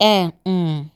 e um